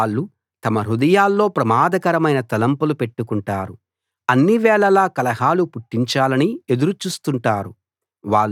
వాళ్ళు తమ హృదయాల్లో ప్రమాదకరమైన తలంపులు పెట్టుకుంటారు అన్నివేళలా కలహాలు పుట్టించాలని ఎదురు చూస్తుంటారు